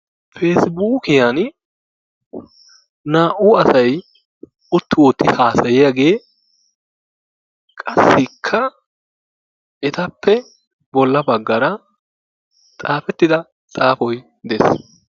peesibuukiyaan naa"u asay utti wotti hasayiyagee qassikka etappe bolla baggaara xaafettida xaapoy des.